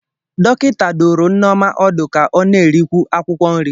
Dọkịta dụrụ nneoma ọdụ ka ọ na-erikwu akwụkwọ nri.